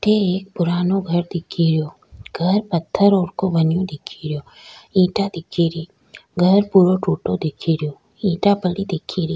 अठ एक पुराणों घर दिख रो घर पत्थर और को बनो दिख रो ईटा दिखे री घर पूरा टुटा दिखेरा ईटा दिख री।